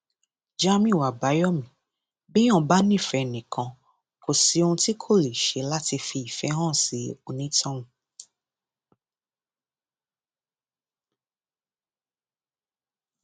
jamiu àbáyọmí béèyàn bá nífẹẹ ẹnìkan kò sí ohun tí kò lè ṣe láti fi ìfẹ hàn sí onítọhún